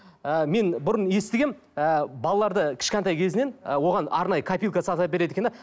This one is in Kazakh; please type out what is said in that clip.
ы мен бұрын естігенмін ы балаларды кішкентай кезінен ы оған арнайы копилка сатып әпереді екен де